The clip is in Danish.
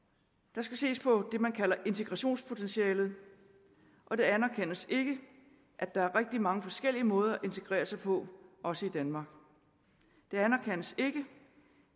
der skal ses på det man kalder integrationspotentialet og det anerkendes ikke at der er rigtig mange forskellige måder at integrere sig på også i danmark det anerkendes ikke